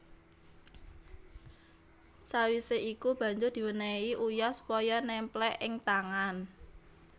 Sawise iku banjur diwenehi uyah supaya nemplek ing tangan